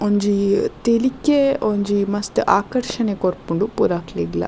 ಒಂಜಿ ತೆಲಿಕೆ ಒಂಜಿ ಮಸ್ತ್ ಆಕರ್ಷಣೆ ಕೊರ್ಪುಂಡು ಪೂರಕ್ಲೆಗ್ಲ.